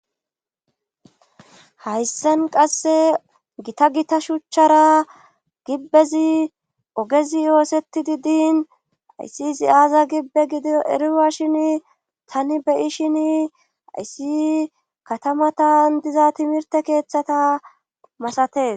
Hayssan qasse gita gita shuchchara gibbezi ogezi yoosetidi diin ayssi ziyaaza gibbe gido eriwashin tani beyishin ayssi katamatan diza timirte keeththata masates.